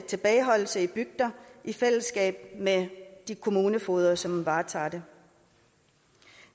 tilbageholdelse i bygder i fællesskab med de kommunefogeder som varetager det